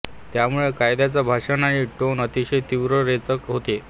त्यामुळे कायद्याच्या भाषण आणि टोन अतिशय तीव्र रेचक होते